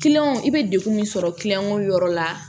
i bɛ degun min sɔrɔ yɔrɔ la